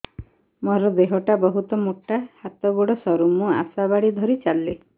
ମୋର ଦେହ ଟା ବହୁତ ମୋଟା ହାତ ଗୋଡ଼ ସରୁ ମୁ ଆଶା ବାଡ଼ି ଧରି ଚାଲେ